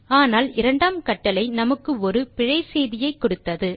ஆனால் இரண்டாம் கட்டளை நமக்கு ஒரு பிழை செய்தியை கொடுத்தது